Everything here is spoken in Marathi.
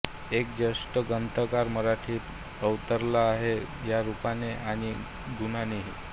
एक ज्येष्ठ ग्रंथकार मराठीत अवतरला आहे रूपाने आणि गुणानेही